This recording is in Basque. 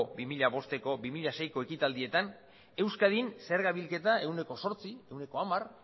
bi mila bosteko bi mila seiko ekitaldietan euskadin zerga bilketa ehuneko zortzi ehuneko hamar